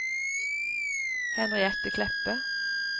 Henriette Kleppe